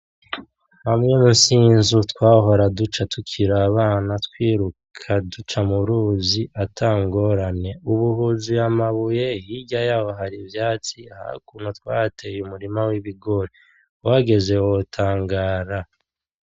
Hamwe munsi y'inzu twahora duca tukiri abana twiruka duca mu ruzi atangorane, ubu huzuye amabuye hirya yaho har' ivyatsi haruguru twahateye umurima w'ibigori uhageze wotangara.